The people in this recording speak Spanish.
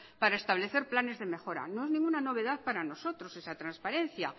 para establecer planes de mejora no es ninguna novedad para nosotros esa transparencia